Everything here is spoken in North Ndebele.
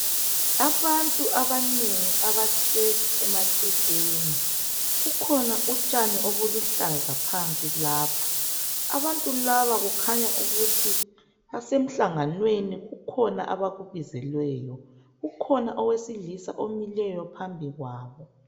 Abantu abanengi abahlezi emagcekeni. Kukhona utshani obuluhlaza phansi lapha. Abantu laba, kukhanya ukuthi basemhlanganweni. Kukhona abakubizelweyo lapha. Kukhona owesilisa omileyo phambi kwabo.